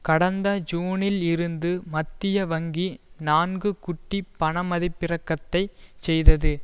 கடந்த ஜூனில் இருந்து மத்திய வங்கி நான்கு குட்டி பண மதிப்பிறக்கத்தைச் செய்தது